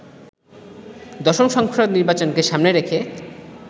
দশম সংসদ নির্বাচনকে সামনে রেখে